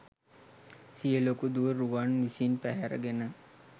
සිය ලොකු දුව රුවන් විසින් පැහැර ගෙන